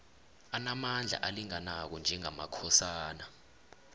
anamandla alinganako njengamakhosana